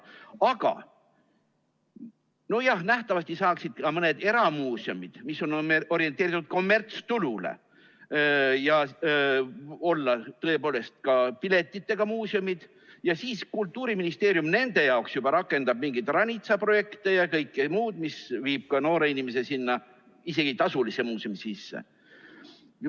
Aga, nojah, nähtavasti saaks ka mõni eramuuseum, mis on orienteeritud kommertstulule, olla tõepoolest ka piletiga muuseum ja siis Kultuuriministeerium nende jaoks juba rakendab mingeid ranitsaprojekte ja kõike muud, mis viib ka noore inimese isegi sinna tasulisse muuseumisse.